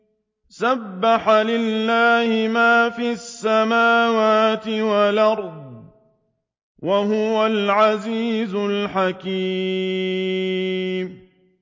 سَبَّحَ لِلَّهِ مَا فِي السَّمَاوَاتِ وَالْأَرْضِ ۖ وَهُوَ الْعَزِيزُ الْحَكِيمُ